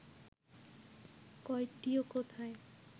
কয়টি ও কোথায়